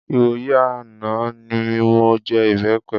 Ìwòyí àná mi mọ jẹ ìbẹpẹ.